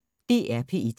DR P1